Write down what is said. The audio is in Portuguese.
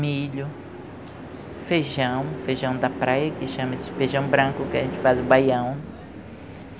Milho, feijão, feijão da praia, que chama-se feijão branco, que a gente faz o baião.